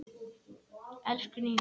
Elsku Nína.